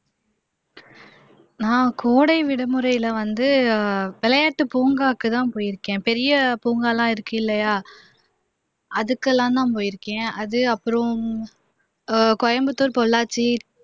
நான் கோடைவிடுமுறையில வந்து விளையாட்டு பூங்காக்குதான் போயிருக்கேன் பெரிய பூங்கா எல்லாம் இருக்கு இல்லையா அதுக்கு எல்லாம்தான் போயிருக்கேன் அது அப்புறம் கோயமுத்தூர், பொள்ளாச்சி